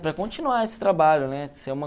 Para continuar esse trabalho, né?